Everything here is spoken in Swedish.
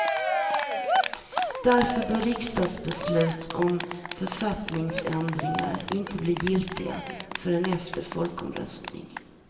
Därför bör riksdagsbeslut om författningsändringar inte bli giltiga förrän efter folkomröstning.